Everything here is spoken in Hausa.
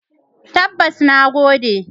Tabbas, na gode.